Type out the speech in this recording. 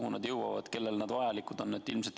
Kuhu need jõuavad, kellele need vajalikud on?